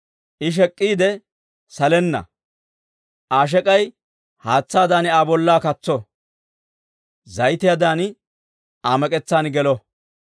I shek'k'iide salenna; Aa shek'ay haatsaadan Aa bollaa katso! Zayitiyaadan Aa mek'etsan gelo!